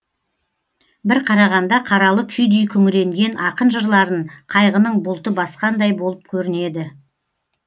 бір қарағанда қаралы күйдей күңіренген ақын жырларын қайғының бұлты басқандай болып көрінеді